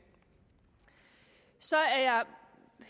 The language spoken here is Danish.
så er jeg